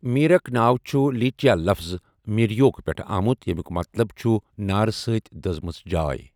میرک ناو چھُ لیپچا لفٕط میر یوک پٮ۪ٹھٕ آمُت ییٚیمیُک مطلب چھُ 'نارٕ سۭتۍ دٔزمٕژ جاے'۔